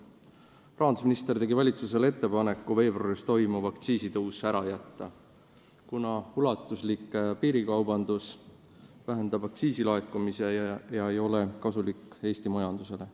Rahandusminister tegi valitsusele ettepaneku veebruaris toimuv aktsiisitõus ära jätta, kuna ulatuslik piirikaubandus vähendab aktsiisilaekumisi ega ole kasulik Eesti majandusele.